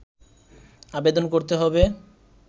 আবেদন করতে হবে